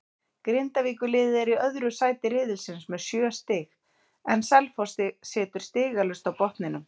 Grindavíkurliðið er í öðru sæti riðilsins með sjö stig en Selfoss situr stigalaust á botninum.